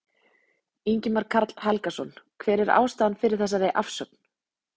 Ingimar Karl Helgason: Hver er ástæðan fyrir þessari afsögn?